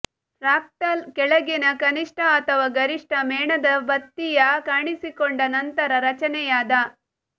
fractal ಕೆಳಗಿನ ಕನಿಷ್ಠ ಅಥವಾ ಗರಿಷ್ಠ ಮೇಣದಬತ್ತಿಯ ಕಾಣಿಸಿಕೊಂಡ ನಂತರ ರಚನೆಯಾದ